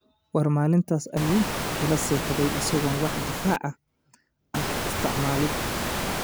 War maalintaas ayuu ila seexday isagoon wax difaac ah isticmaalin''.